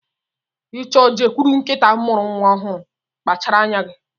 Ị chọọ i jekwuru nkịta mụrụ nwa ọhụụ, kpachara anya gị.